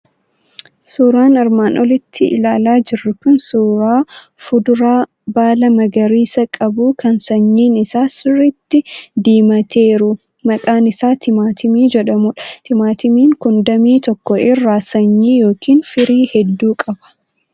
Suuraan armaan olitti ilaalaa jirru kun suuraa fuduraa baala magariisa qabu, kan sanyiin isaa sirriitti diimateeru, maqaan isaa timaatimii jedhamudha. Timaatimiin kun damee tokko irraa sanyii yookiin firii hedduu qaba.